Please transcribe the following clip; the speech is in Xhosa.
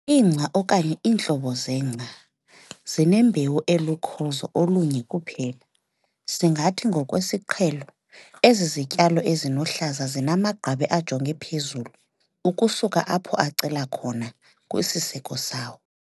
ingca, okanye iintlobo zengca, zinembewu elukhozo olunye kuphela, singathi ngokwesiqhelo azizityalo ezinohlaza zinamagqabi ajonge phezulu ukusuka apho acela khona kwisiseko sawo.